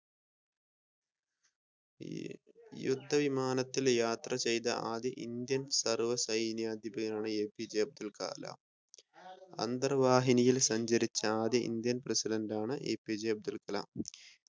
യുദ്ധ വിമാനത്തിൽ യാത്ര ചെയ്ത ആദ്യ ഇന്ത്യൻ സർവ സൈനാധിപനാണ് എപിജെ അബ്ദുൽ കലാം അന്തർവാഹിനിയിൽ സഞ്ചരിച്ച ആദ്യ ഇന്ത്യൻ പ്രസിഡെന്റാണ് എപിജെ അബ്ദുൽ കലാം